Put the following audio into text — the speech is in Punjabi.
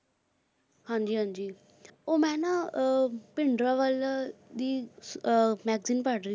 ਹਾਂ, ਮੈਂ ਭਿੰਡਰਾ ਵਾਲੇ ਦਾ ਰਸਾਲਾ ਪੜ੍ਹ ਰਿਹਾ ਸਾਂ।